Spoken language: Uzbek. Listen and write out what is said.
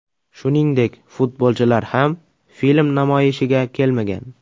Shuningdek futbolchilar ham film namoyishiga kelmagan.